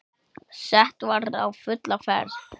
Sett var á fulla ferð.